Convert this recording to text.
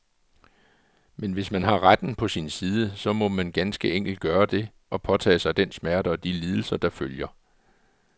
Men hvis man har retten på sin side, så må man ganske enkelt gøre det, og påtage sig den smerte og de lidelser, der følger.